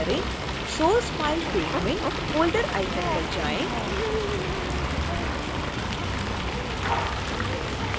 source file field field में folder icon पर जाएँ